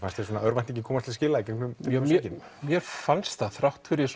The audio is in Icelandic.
fannst þér örvæntingin komast til skila mér fannst það þrátt fyrir